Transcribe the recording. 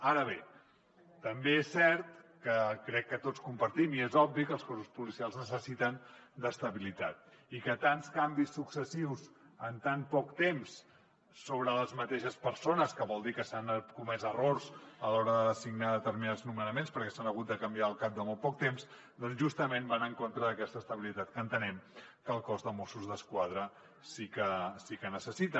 ara bé també és cert crec que tots ho compartim i és obvi que els cossos policials necessiten estabilitat i que tants canvis successius en tan poc temps sobre les mateixes persones que vol dir que s’han comès errors a l’hora de designar determinats nomenaments perquè s’han hagut de canviar al cap de molt poc temps doncs justament van en contra d’aquesta estabilitat que entenem que el cos de mossos d’esquadra sí que necessita